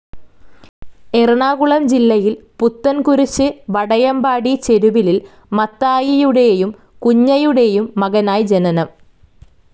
എറണാകുളം ജില്ലയിൽ പുത്തൻകുരിശ് വടയമ്പാടി ചെരുവിലിൽ മത്തായിയുടേയും കുഞ്ഞയുടെയും മകനായി ജനനം.